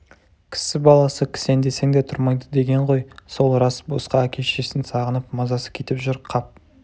кісі баласы кісендесең де тұрмайды деген ғой сол рас босқа әке-шешесін сағынып мазасы кетіп жүр қап